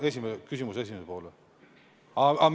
Küsimuse esimene pool või?